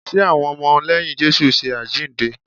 Ṣe àwọn ọmọ lẹ́yìn Jésù ń ṣe àjíǹde?